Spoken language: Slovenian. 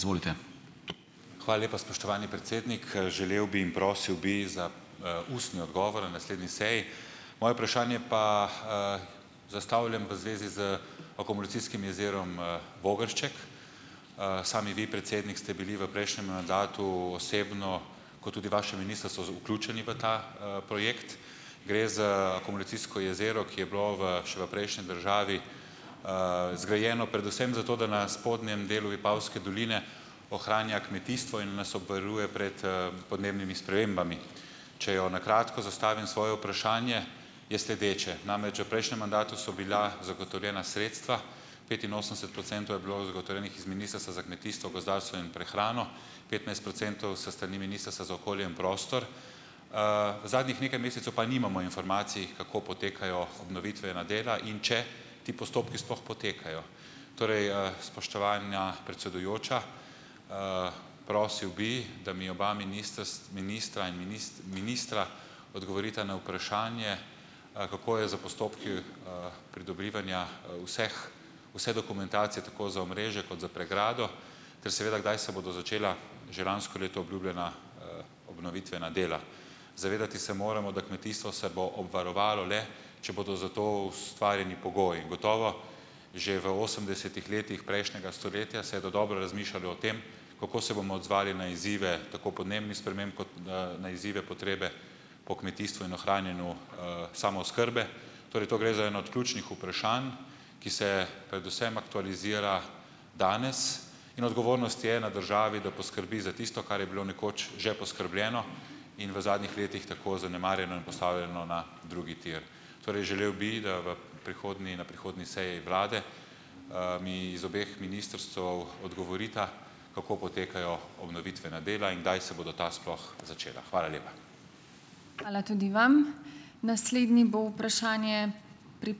Hvala lepa, spoštovani predsednik. Želel bi in prosil bi za, ustni odgovor na naslednji seji. Moje vprašanje pa, zastavljam v zvezi z akumulacijskim jezerom, Vogršček, sami vi predsednik ste bili v prejšnjem mandatu osebno kot tudi vaše ministrstvo vključeni v ta, projekt. Gre za akumulacijsko jezero, ki je bilo v še v prejšnji državi, zgrajeno predvsem zato, da na spodnjem delu Vipavske doline ohranja kmetijstvo in nas obvaruje pred, podnebnimi spremembami. Če jo na kratko zastavim, svoje vprašanje, je sledeče. Namreč že v prejšnjem mandatu so bila zagotovljena sredstva, petinosemdeset procentov je bilo zagotovljenih iz Ministrstva za kmetijstvo, gozdarstvo in prehrano, petnajst procentov s strani Ministrstva za okolje in prostor, zadnjih nekaj mesecev pa nimamo informacij, kako potekajo obnovitvena dela, in če ti postopki sploh potekajo. Torej, spoštovana predsedujoča, prosil bi, da mi oba ministra in ministra odgovorita na vprašanje, kako je s postopki, pridobivanja, vseh vse dokumentacije tako za omrežje kot za pregrado ter seveda kdaj se bodo začela že lansko leto obljubljena, obnovitvena dela. Zavedati se moramo, da kmetijstvo se bo obvarovalo le, če bodo za to ustvarjeni pogoji, gotovo že v osemdesetih letih prejšnjega stoletja se je dodobra razmišljalo o tem, kako se bomo odzvali na izzive tako podnebnih sprememb kot na na izzive, potrebe po kmetijstvu in ohranjanju, samooskrbe, torej to gre za eno od ključnih vprašanj, ki se predvsem aktualizira danes, in odgovornost je na državi, da poskrbi za tisto, kar je bilo nekoč že poskrbljeno in v zadnjih letih tako zanemarjeno in postavljeno na drugi tir. Torej želel bi, da v prihodnji na prihodnji seji vlade, mi iz obeh ministrstev odgovorita, kako potekajo obnovitvena dela in kdaj se bodo ta sploh začela. Hvala lepa.